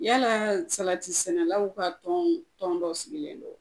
Yalaa salati sɛnɛlaw ka tɔɔn tɔn dɔ sigilen don